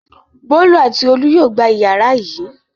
Bólú àti Olú yóò gba ìyàrá yìí.